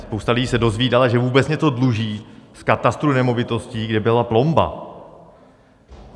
Spousta lidí se dozvídala, že vůbec něco dluží v katastru nemovitostí, kde byla plomba.